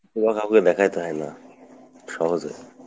এইগুলা কাওকে দেখাইতে হয় না, সহজে।